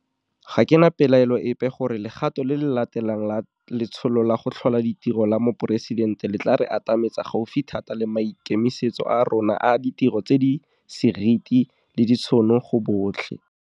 Ga ke na pelaelo epe gore legato le le latelang la Letsholo la go Tlhola Ditiro la Moporesidente le tla re atametsa gaufi thata le maikemisetso a rona a ditiro tse di seriti le ditšhono go botlhe.